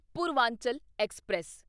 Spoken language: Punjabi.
ਪੂਰਵਾਂਚਲ ਐਕਸਪ੍ਰੈਸ